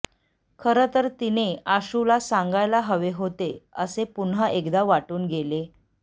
खरं तर तिने आशूला सांगायला हवे होते असे पुन्हा एकदा वाटून गेले